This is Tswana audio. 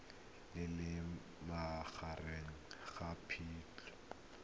le leng magareng ga phatwe